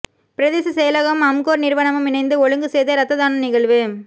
பிரதேச செயலகமும் அம்கோர் நிறுவனமும் இணைந்து ஒழுங்கு செய்த இரத்ததான நிகழ்வு